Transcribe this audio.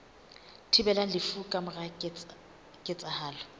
thibelang lefu ka mora ketsahalo